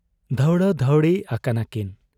ᱫᱷᱟᱶᱬᱟ ᱫᱷᱟᱹᱣᱬᱤ ᱟᱠᱟᱱᱟ ᱠᱤᱱ ᱾